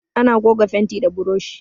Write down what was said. Ana goga fenti da buroshi.